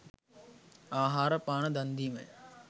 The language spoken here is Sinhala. ආහාර පාන දන් දීමය.